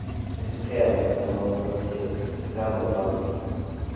isiqhema samaproteas sikhamba phambili